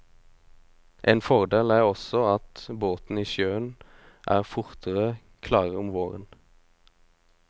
En fordel er også at båter i sjøen er fortere klare om våren.